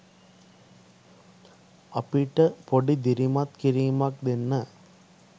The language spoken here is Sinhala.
අපිට පොඩි දිරිමත් කිරීමක් දෙන්න